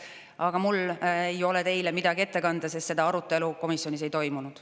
Aga mul ei ole teile midagi ette kanda, sest seda arutelu komisjonis ei toimunud.